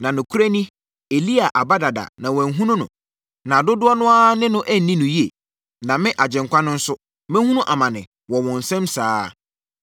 Na nokorɛ ni, Elia aba dada na wɔanhunu no, na dodoɔ no ara ne no anni no yie. Na me, Agyenkwa no nso, mɛhunu amane wɔ wɔn nsam saa ara.”